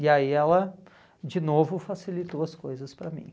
E aí ela, de novo, facilitou as coisas para mim.